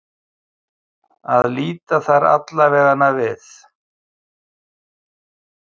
Að líta þar allavega við.